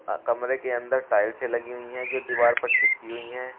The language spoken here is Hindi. अह कमरे के अंदर टाइल्सें लगी हुई हैं जो दीवार पर चिपकी हुई हैं।